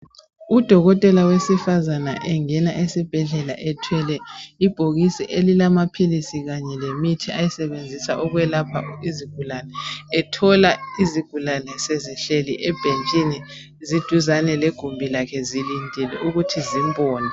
Udokotela wesifazane engena esibhedlela ethwele ibhokisi elilamaphilisi kanye lemithi ayisebenzisa ukwelapha izigulane. Ethola izigulane sezihleli ebhentshini eduzane legumbi lakhe sezilindile ukuthi zimbone.